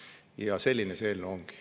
" Ja selline see eelnõu ongi.